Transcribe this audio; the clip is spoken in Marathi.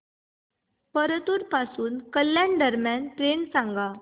परतूर पासून कल्याण दरम्यान ट्रेन सांगा